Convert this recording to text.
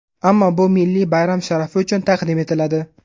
Ammo bu milliy bayram sharafi uchun taqdim etiladi.